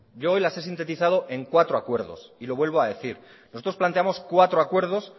yo hoy las he sintetizado en cuatro acuerdos y lo vuelvo a decir nosotros planteamos cuatro acuerdos